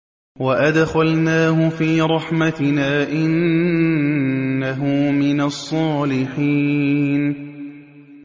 وَأَدْخَلْنَاهُ فِي رَحْمَتِنَا ۖ إِنَّهُ مِنَ الصَّالِحِينَ